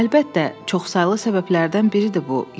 Əlbəttə, çoxsaylı səbəblərdən biridir bu,